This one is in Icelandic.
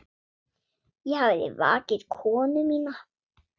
Ég hafði vakið konu mína.